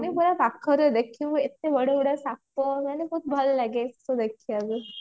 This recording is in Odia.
ମାନେ ବହୁତ ପାଖରେ ଦେଖିବୁ ଏତେ ବଡ ବଡ ସାପ ମାନେ ବହୁତ ଭଲ ଲାଗେ ସେ ସବୁ ଦେଖିବାକୁ